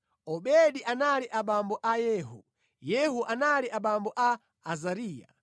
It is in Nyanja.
Obedi anali abambo a Yehu, Yehu anali abambo a Azariya,